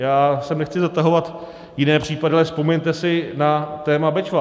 Já sem nechci zatahovat jiné případy, ale vzpomeňte si na téma Bečva.